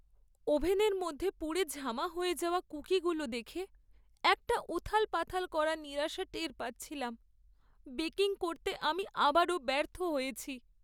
ওভেনের মধ্যে পুড়ে ঝামা হয়ে যাওয়া কুকিগুলো দেখে একটা উথালপাথাল করা নিরাশা টের পাচ্ছিলাম। বেকিং করতে আমি আবারও ব্যর্থ হয়েছি।